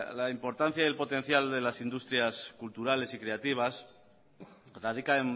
la importancia y el potencial de las industrias culturales y creativas radica